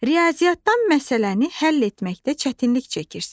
Riyaziyyatdan məsələni həll etməkdə çətinlik çəkirsən.